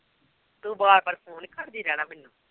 ਤੂੰ ਬਾਰ ਬਾਰ phone ਹੀ ਕਰਦੀ ਰਹਿਣਾ ਮੈਨੂੰ